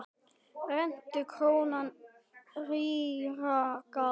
Rentu króna rýra gaf.